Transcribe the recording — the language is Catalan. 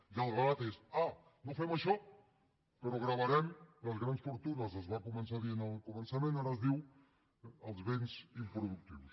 i el relat és ah no fem això però gravarem les grans fortunes es va començar dient al començament ara es diu els béns improductius